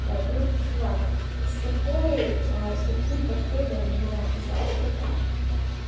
блядь ну чувак с такой с таким подходом на заработок